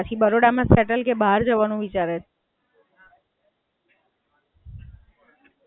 ના એ પણ સારું છે, ફાર્મસી ને એ પણ સરસ છે. ના, સરસ સરસ ચલો. પછી બરોડા માં સેટલ કે બહાર જવાનું વિચારે છે?